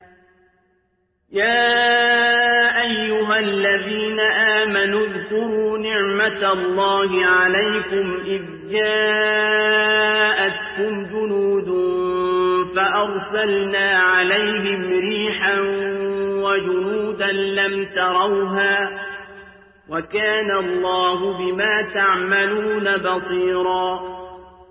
يَا أَيُّهَا الَّذِينَ آمَنُوا اذْكُرُوا نِعْمَةَ اللَّهِ عَلَيْكُمْ إِذْ جَاءَتْكُمْ جُنُودٌ فَأَرْسَلْنَا عَلَيْهِمْ رِيحًا وَجُنُودًا لَّمْ تَرَوْهَا ۚ وَكَانَ اللَّهُ بِمَا تَعْمَلُونَ بَصِيرًا